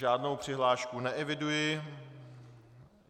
Žádnou přihlášku neeviduji.